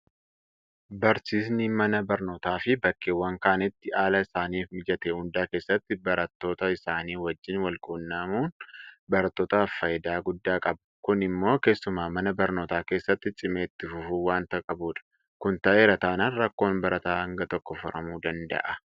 Barsiisinni mana barnootaafi bakkeewwan kaanitti haala isaaniif mijate hunda keessatti barattoota isaanii wajjin walquunnamuun barattootaaf faayidaa guddaa qaba. Kun immoo keessumaa mana barnootaa keessatti cimee itti fufuu waanta qabudha. Kun ta'eera taanaan rakkoon barataa hanga tokko furamuu danda'a.